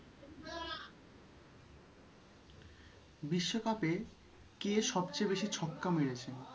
বিশ্বকাপে সবচেয়ে কে বেশি ছক্কা মেরেছে